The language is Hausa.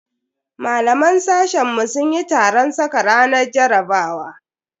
Malaman sashen mu sun yi taron saka ranar jarabawa.